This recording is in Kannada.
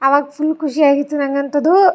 ಆವಾಗ್ ಫುಲ್ ಖುಷಿ ಆಗಿತ್ತು ನಂಗಂತ್ತದು.